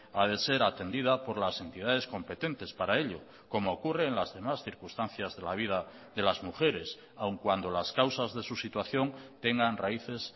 ha de ser atendida por las entidades competentes para ello como ocurre en las demás circunstancias de la vida de las mujeres aun cuando las causas de su situación tengan raíces